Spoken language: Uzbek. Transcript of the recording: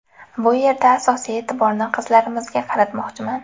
Bu yerda asosiy e’tiborni qizlarimizga qaratmoqchiman.